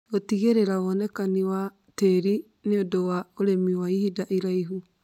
gũtigĩrĩra wonekani wa tĩri nĩ ũndũ wa ũrĩmi wa ihinda iraihu.